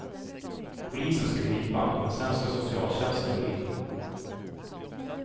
Polisen ska gripa, men sen ska socialtjänsten gå in.